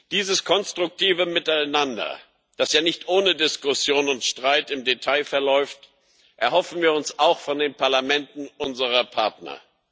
Dieses konstruktive Miteinander, das ja nicht ohne Diskussion und Streit im Detail verläuft, erhoffen wir uns auch von den Parlamenten unserer Partner.